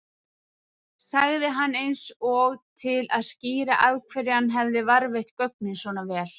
sagði hann eins og til að skýra af hverju hann hefði varðveitt gögnin svona vel.